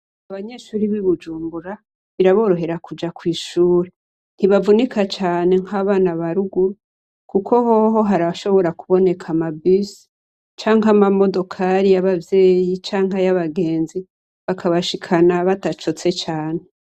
Abanyeshure b'i Bujumbura biraborohera kuja kw'ishure. Ntibavunika cane nkabana ba ruguru kuko hoho harashobora kuboneka ama bisi canke amamodokari y'abavyeyi canke ay'abagenzi bakabashikana badacotse cane.